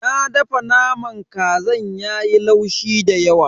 Na dafa naman kazan yayi laushi dayawa.